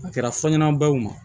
A kɛra fɔɲɔn baw ma